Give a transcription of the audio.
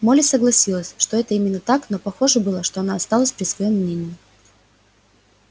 молли согласилась что это именно так но похоже было что она осталась при своём мнении